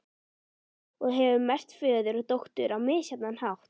Og hefur merkt föður og dóttur á misjafnan hátt.